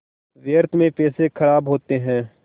व्यर्थ में पैसे ख़राब होते हैं